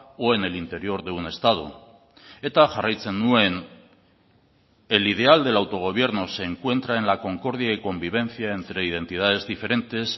o en el interior de un estado eta jarraitzen nuen el ideal del autogobierno se encuentra en la concordia y convivencia entre identidades diferentes